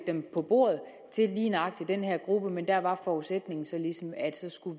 dem på bordet til lige nøjagtig den her gruppe men der var forudsætningen så ligesom at